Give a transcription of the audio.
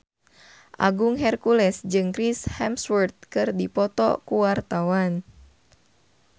Agung Hercules jeung Chris Hemsworth keur dipoto ku wartawan